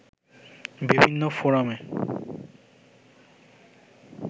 বিভিন্ন ফোরামে